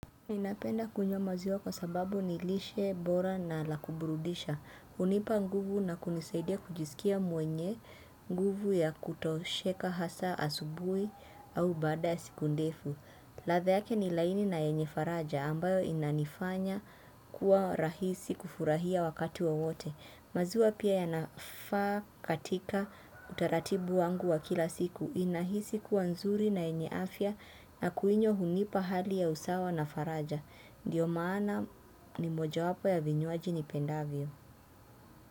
Ninapenda kunywa maziwa kwa sababu ni lishe bora na la kuburudisha. Hunipa nguvu na kunisaidia kujisikia mwenye nguvu ya kutosheka hasa asubuhi au baada ya siku ndefu. Ladha yake ni laini na yenye faraja ambayo inaifanya kuwa rahisi kufurahia wakati wa wowote. Maziwa pia yanafaa katika utaratibu wangu wa kila siku unahisi kuwa nzuri na yenye afya na kuinywa hunipa hali ya usawa na faraja. Ndiyo maana ni moja wapo ya vinywaji nipendavyo.